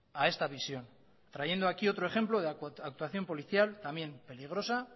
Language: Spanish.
a esta visión trayendo aquí otro ejemplo de actuación policial también peligrosa